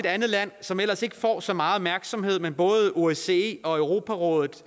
andet land som ellers ikke får så meget opmærksomhed men som både osce og europarådet